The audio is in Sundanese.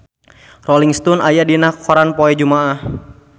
Rolling Stone aya dina koran poe Jumaah